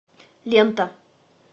лента